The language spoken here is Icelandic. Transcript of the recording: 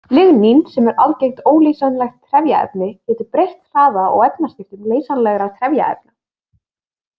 Lignín, sem er algengt óleysanlegt trefjaefni, getur breytt hraða og efnaskiptum leysanlegra trefjaefna.